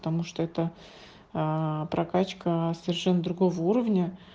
потому что это прокачка совершенно другого уровня